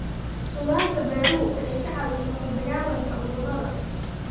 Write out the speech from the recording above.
Khudaarta beeruhu waxay ka caawiyaan la dagaalanka cudurada.